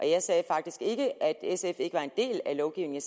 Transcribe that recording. jeg sagde faktisk ikke at sf ikke var en del af lovgivningen